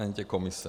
Ani ty komise.